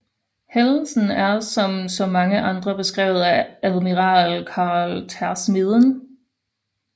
Hændelsen er som så mange andre beskrevet af admiral Carl Tersmeden